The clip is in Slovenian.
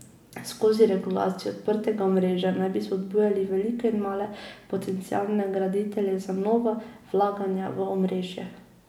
Skozi regulacijo odprtega omrežja naj bi spodbujali velike in male potencialne graditelje za nova vlaganja v omrežje.